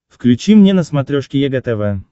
включи мне на смотрешке егэ тв